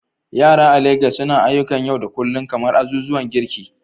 Yara a Legas suna ayyukan yau da kullun kamar azuzuwan girki